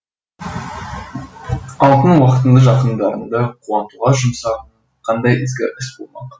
алтын уақытыңды жақындарыңды қуантуға жұмса қандай ізгі іс болмақ